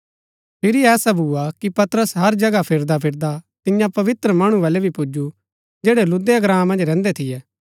फिरी ऐसा भुआ कि पतरस हर जगह फिरदा फिरदा तियां पवित्र मणु वलै भी पुजु जैड़ै लुद्दा ग्राँ मन्ज रैहन्दै थियै